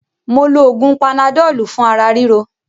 Mó lo oògùn panadọ́lù fún ara ríro.